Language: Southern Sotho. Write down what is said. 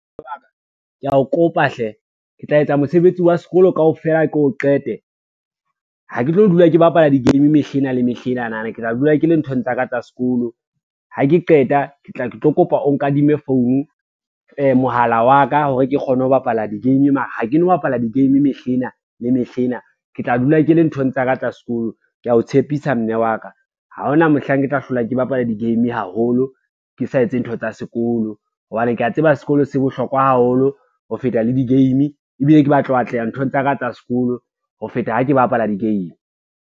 Kea o kopa hle ke tla etsa mosebetsi wa sekolo kaofela ke o qete, ha ke tlo dula ke bapala di-game mehlena le mehlenana ke tla dula ke le nthong tsa ka tsa sekolo, ha ke qeta ke tla ke tlo kopa o nkadime phone mohala wa ka hore ke kgone ho bapala di-game, mara ha ke no bapala di-game mehlena le mehlena ke tla dula ke le nthong tsa ka tsa sekolo. Ke a o tshepisa mme wa ka, ha ona mohlang ke tla hlola ke bapala di-game haholo, ke sa etse ntho tsa sekolo hobane kea tseba sekolo se bohlokwa haholo ho feta le di-game, ebile ke batla ho atleha nthong tsa ka tsa sekolo ho feta ha ke bapala di-game.